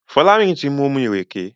Folarin tí mu omí ìrèké.